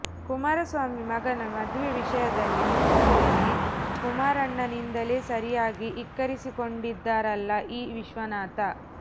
ಕುಮಾರಸ್ವಾಮಿ ಮಗನ ಮದುವೆ ವಿಷಯದಲ್ಲಿ ಮೂಗು ತೂರಿಸಿ ಕುಮಾರಣ್ಣನಿಂದಲೇ ಸರಿಯಾಗಿ ಇಕ್ಕಿಸಿಕೊಂಡಿದ್ದಾರಲ್ಲಾ ಈ ವಿಶ್ವನಾಥ